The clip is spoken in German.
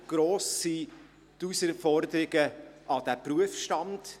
Entsprechend gross sind die Herausforderungen an diesen Berufsstand.